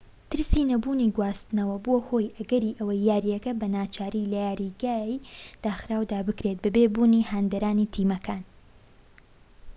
ترسی نەبوونی گواستنەوە بووە هۆی ئەگەری ئەوەی یاریەکە بە ناچاری لە یاریگاری داخراودا بکرێت بەبێ بوونی هاندەرانی تیمەکان